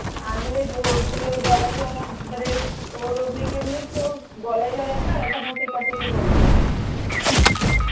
আমি হলে তুই ওর জড়াবি মানে ওর গলায় জড়াবে আর ওখানে ও টেপাটিপি করবে হম